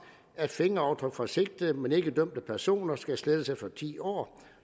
at fingeraftryk for sigtede men ikke dømte personer skal slettes efter ti år